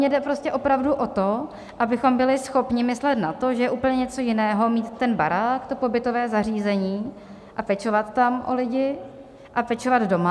Mně jde prostě opravdu o to, abychom byli schopni myslet na to, že je úplně něco jiného mít ten barák, to pobytové zařízení a pečovat tam o lidi, a pečovat doma.